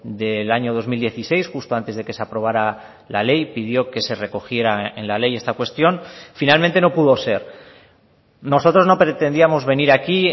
del año dos mil dieciséis justo antes de que se aprobara la ley pidió que se recogiera en la ley esta cuestión finalmente no pudo ser nosotros no pretendíamos venir aquí